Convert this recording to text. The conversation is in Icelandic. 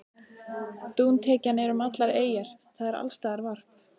Dúntekjan er um allar eyjar, það er alls staðar varp.